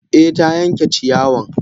Eh ta yanke ciyawan.